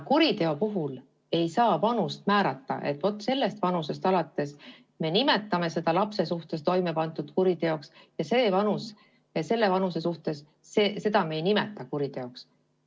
Kuriteo puhul ei saa määrata, et vot sellest vanusest alates me nimetame seda lapse suhtes toimepandud tegu kuriteoks ja vot sellise vanuse puhul me ei nimeta seda kuriteoks.